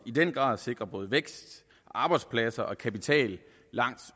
i den grad sikre både vækst arbejdspladser og kapital langt